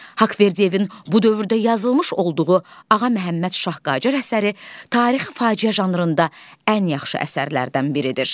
Haqverdiyevin bu dövrdə yazılmış olduğu "Ağa Məhəmməd Şah Qacar" əsəri tarixi faciə janrında ən yaxşı əsərlərdən biridir.